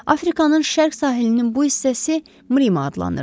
Afrikanın şərq sahilinin bu hissəsi Mrima adlanırdı.